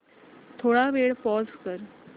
थोडा वेळ पॉझ कर